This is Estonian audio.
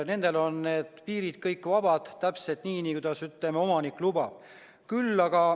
Nendel on kõik piirid vabad, täpselt nii, kuidas omanik lubab.